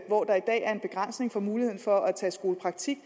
hvor der i dag er en begrænsning i muligheden for at tage skolepraktik